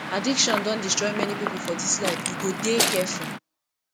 addiction don destroy many pipo for dis life you go dey careful